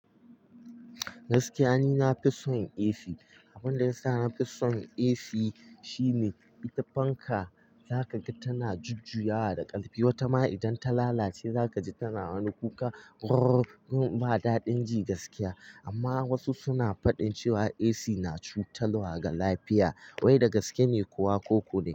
Gaskiya ni na fi son AC. Abin da ya sa na fi son AC shine, ita fanka za ka ga tana jujjuyawa da ƙarfi. Wata ma idan ta lalace za ka ji tana wani kuka "rrr" in ba daɗin ji gaskiya. Amma wasu suna faɗin cewa AC na cutarwa ga lafiya. Wai da gaske ne kuwa ko ko dai?